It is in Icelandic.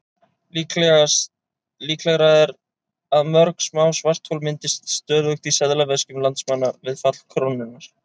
Líklegra er að mörg smá svarthol myndist stöðugt í seðlaveskjum landsmanna við fall krónunnar.